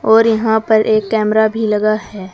और यहां पर एक कैमरा भी लगा है।